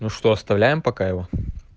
ну что оставляем пока его